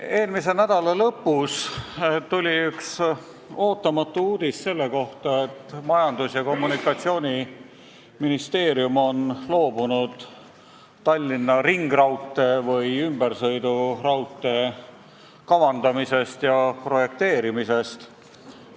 Eelmise nädala lõpus tuli ootamatu uudis selle kohta, et Majandus- ja Kommunikatsiooniministeerium on loobunud Tallinna ringraudtee või ümbersõiduraudtee kavandamisest ja projekteerimisest.